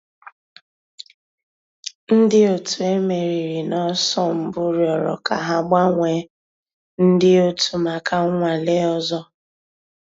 Ǹdí ọ̀tù e mèrìrì n'ọ̀sọ̀ mbù rị̀ọrọ̀ kà hà gbànwèè ńdí ọ̀tù mǎká nnwàlè òzò.